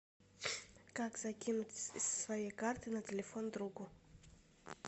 как закинуть со своей карты на телефон другу